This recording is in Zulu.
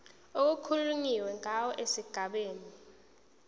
okukhulunywe ngawo esigabeni